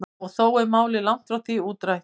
Og þó er málið langt frá því útrætt.